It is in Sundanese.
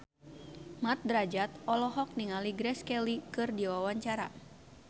Mat Drajat olohok ningali Grace Kelly keur diwawancara